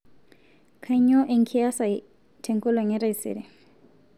kainyoo enkias ai te enkolong' e taisere